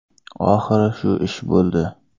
Oxiri shu ish bo‘ldi.